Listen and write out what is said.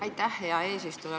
Aitäh, hea eesistuja!